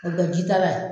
O kɛ ji da la